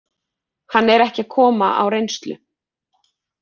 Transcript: Hann er ekki að koma á reynslu.